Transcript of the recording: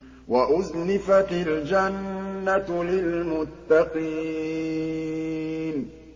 وَأُزْلِفَتِ الْجَنَّةُ لِلْمُتَّقِينَ